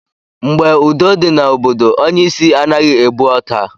Mgbe udo dị na obodo, onye isi anaghị ebu ọta.